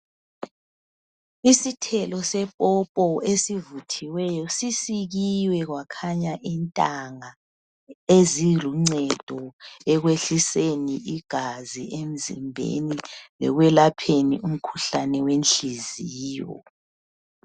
Isithelo sepopo esivuthiweyo sisikiwe kwakhanya intanga eziluncedo ekwehliseni igazi emzimbeni lekwelapheni umkhuhlane wenhliziyo.